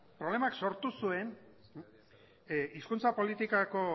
problemak sortu zuen hizkuntza politikako